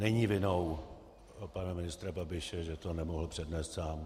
Není vinou pana ministra Babiše, že to nemohl přednést sám.